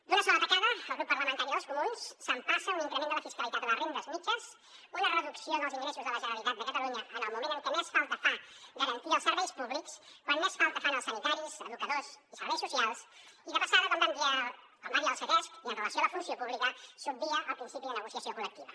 d’una sola tacada el grup parlamentari dels comuns s’empassa un increment de la fiscalitat a les rendes mitjanes una reducció dels ingressos de la generalitat de catalunya en el moment en què més falta fa garantir els serveis públics quan més falta fan els sanitaris educadors i serveis socials i de passada com va dir el ctesc i amb relació a la funció pública s’obvia el principi de negociació col·lectiva